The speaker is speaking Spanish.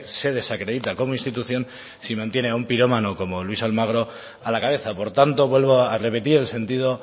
se desacredita como institución si mantiene a un pirómano como luis almagro a la cabeza por tanto vuelvo a repetir el sentido